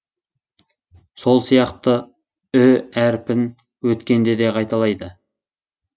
сол сияқты ү әріпін өткенде де қайталайды